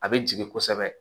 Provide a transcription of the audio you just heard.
A bɛ jigin kosɛbɛ